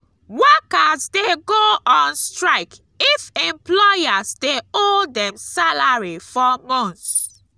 workers de go on strike if employers de owe dem salary for months